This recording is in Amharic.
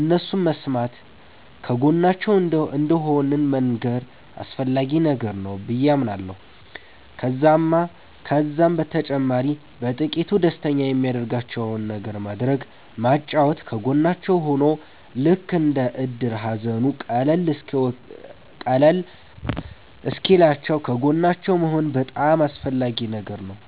እነሱን መስማተ ከጎናቸዉ እንደሆንን መንገር አስፈላጊ ነገር ነዉ በዬ አምናለሁ። ከዛም በተጨማሪ በጥቂቱ ደስተኛ የሚያደርጋቸዉን ነገር ማድረግ ማጫወት ከጎናቸዉ ሁኖ ልክ እንደ እድር ሃዘኑ ቀለል እሰወኪልላችዉ ከጎናቸዉ መሆን በጣም አስፈላጊ ነገር ነዉ